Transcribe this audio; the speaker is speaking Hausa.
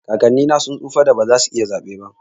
kakanni na sun tsufan da ba za su iya zaɓe ba.